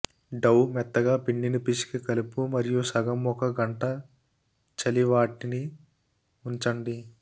డౌ మెత్తగా పిండిని పిసికి కలుపు మరియు సగం ఒక గంట చలి వాటిని ఉంచండి